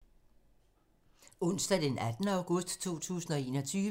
Onsdag d. 18. august 2021